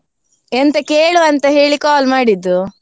ಎಂತ ಕೇಳುವ ಅಂತ ಹೇಳಿ call ಮಾಡಿದ್ದು.